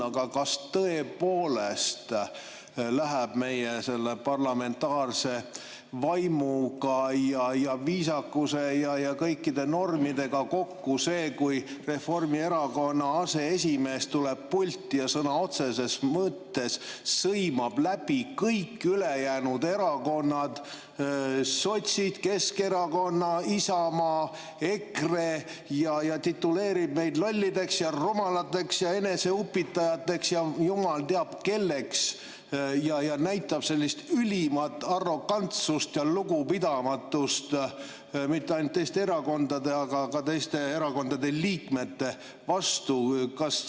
Aga kas tõepoolest läheb meie parlamentaarse vaimu ja viisakuse ja kõikide normidega kokku see, kui Reformierakonna aseesimees tuleb pulti ja sõna otseses mõttes sõimab läbi kõik ülejäänud erakonnad – sotsid, Keskerakonna, Isamaa, EKRE –, tituleerib meid lollideks ja rumalateks ja eneseupitajateks ja jumal teab, kelleks, näitab üles ülimat arrogantsust ja lugupidamatust mitte ainult Eesti erakondade, vaid ka teiste erakondade liikmete vastu?